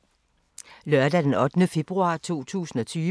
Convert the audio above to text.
Lørdag d. 8. februar 2020